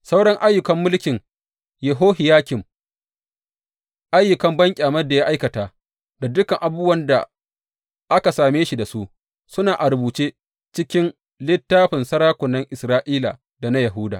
Sauran ayyukan mulkin Yehohiyakim, ayyukan banƙyamar da ya aikata da dukan abubuwan da aka same shi da su, suna a rubuce cikin littafin sarakunan Isra’ila da na Yahuda.